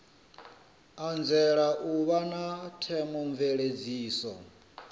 anzela u vha na theomveledziso